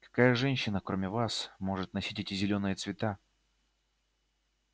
какая женщина кроме вас может носить эти зелёные цвета